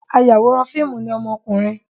Ayàwòrán fíìmù ni ọmọkùnrin.